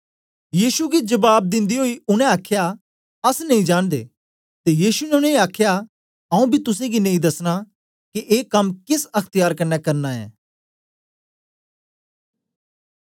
यीशु गी जबाब दिंदे ओई उनै आखया अस नेई जांनदे ते यीशु ने उनेंगी आखया आऊँ बी तुसेंगी नेई दसना के ए कम केस अख्त्यार कन्ने करना ऐं